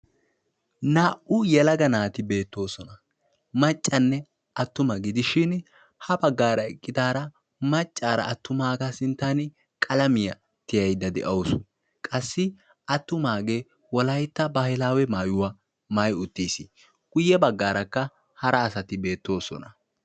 naa"u yelaga naati beettoosona maccanne attuma digishin ha baggar eqqidaara attumaaga sinttan qalamiyaa tiyaadda de'awusi qassi attumage wolaytta baahilaawe maayuwa maayyi uttiis; guyye baggarakka hara asati beettoosona.